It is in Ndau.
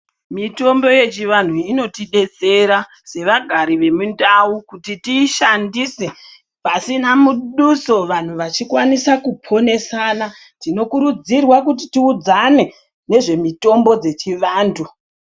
Mitombo yechivanhu iyi inotidetsera sevagari vemundau kuti tiishandise pasina muduso vantu vachikwanisa kuponesana. Tinokurudzirwa kuti tiudzane nezvemitombo dzechivantu.